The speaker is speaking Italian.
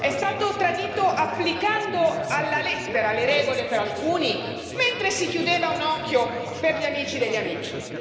È stato tradito applicando alla lettera le regole per alcuni, mentre si chiudeva un occhio per gli amici degli amici.